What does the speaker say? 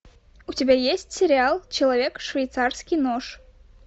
у тебя есть сериал человек швейцарский нож